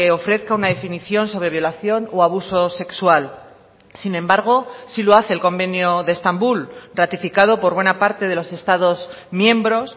ofrezca una definición sobre violación o abuso sexual sin embargo sí lo hace el convenio de estambul ratificado por buena parte de los estados miembros